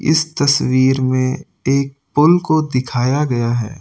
इस तस्वीर में एक पुल को दिखाया गया है।